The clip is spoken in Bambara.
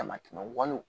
Damatɛmɛ walew